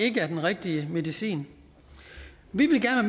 ikke er den rigtige medicin vi